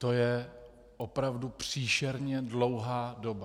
To je opravdu příšerně dlouhá doba.